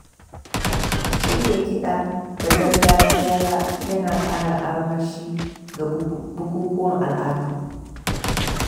Shirya kida na gargajiya ya na ƙara armashi ga bukukuwan al’adu.